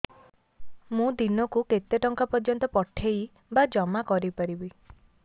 ମୁ ଦିନକୁ କେତେ ଟଙ୍କା ପର୍ଯ୍ୟନ୍ତ ପଠେଇ ବା ଜମା କରି ପାରିବି